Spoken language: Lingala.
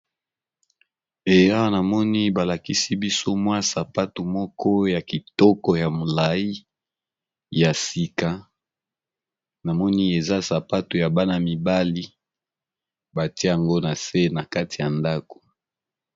Awa namoni balakisi biso mwa sapato moko ya sika, ezali bongo sapato ya bana ya mike ya mibali